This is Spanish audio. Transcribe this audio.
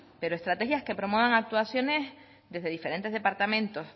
pero estrategias que promuevan actuaciones desde diferentes departamentos